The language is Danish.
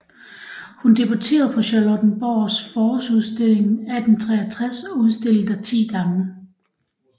Hun debutterede på Charlottenborgs Forårsudstilling 1863 og udstillede der 10 gange